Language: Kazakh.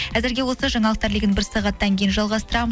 әзірге осы жаңалықтар легін бір сағаттан кейін жалғастырамын